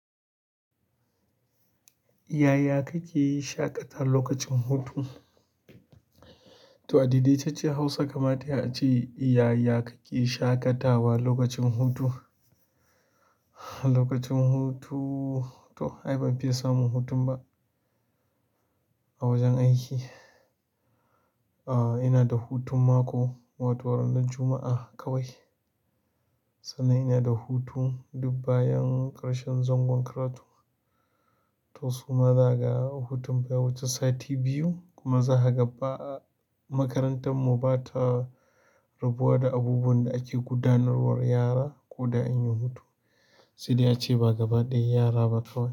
Yaya kake yi shaƙata lokacin hutu? To a daidaitacciyar Hausa kamata yai a ce, yaya kake shaƙatawa lokacin hutu. Lokacin hutu, to ai ban fiya samun hutun ba a wajen aiki. A ina da hutun mako, wato ranar Juma'a kawai. Sannan ina da hutu dub bayan ƙarshen zangon karatu. To su ma zaka ga hutun baya wuce sati biyu kuma zaka ga ba'a makarantar mu ba ta rabuwa da abubuwan da ake gudanarwar yara ko da an yi hutu. Sai dai ace ba gaba ɗaya yara ba kawai.